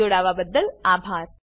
જોડાવાબદ્દલ આભાર